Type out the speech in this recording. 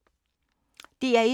DR1